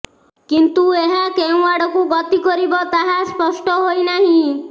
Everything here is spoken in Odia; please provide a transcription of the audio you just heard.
କିନ୍ତୁ ଏହା କେଉଁ ଆଡ଼କୁ ଗତି କରିବ ତାହା ସ୍ପଷ୍ଟ ହୋଇନାହିଁ